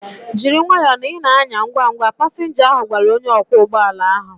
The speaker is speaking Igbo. Jiri nwayọọ na ị na-anya ngwa ngwa! Pasinja ahu gwara onye ọkwọ ụgbọala ahu